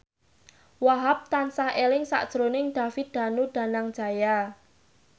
Wahhab tansah eling sakjroning David Danu Danangjaya